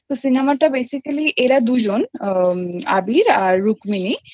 যায় তো Cinemaটা BASICALY এরা দুজন আবির আর রুক্মিণী